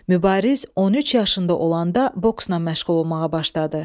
Mübariz 13 yaşında olanda boksla məşğul olmağa başladı.